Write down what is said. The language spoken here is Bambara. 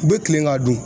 U bɛ kilen ka dun